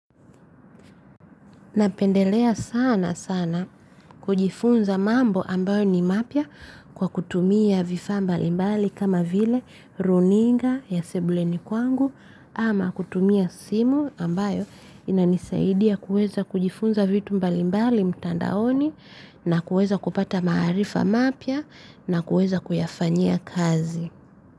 Napendelea sana sana kujifunza mambo ambayo ni mapya kwa kutumia vifa mbalimbali kama vile runinga ya sebuleni kwangu ama kutumia simu ambayo inanisaidia kuweza kujifunza vitu mbalimbali mtandaoni na kuweza kupata marifa mapya na kuweza kuyafanyia kazi.